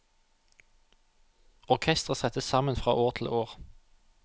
Orkestret settes sammen fra år til år.